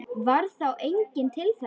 Varð þá enginn til þess.